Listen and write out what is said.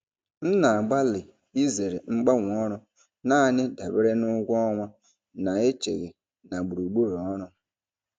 M na-agbalị izere mgbanwe ọrụ naanị dabere na ụgwọ ọnwa na-echeghị na gburugburu ọrụ.